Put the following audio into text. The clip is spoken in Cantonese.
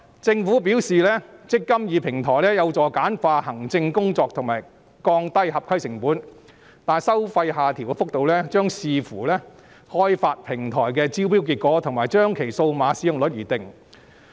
政府表示"積金易"平台有助簡化行政工作及降低合規成本，但收費下調幅度將視乎開發平台的招標結果，以及將其數碼使用率而定。